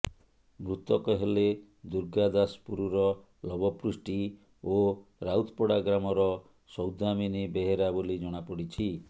ମୃତକ ହେଲେ ଦୁର୍ଗାଦାଶପୁରର ଲବ ପୃଷ୍ଟି ଓ ରାଉତପଡା ଗ୍ରାମର ସୌଦାମିନି ବେହେରା ବୋଲି ଜଣାପଡିଛି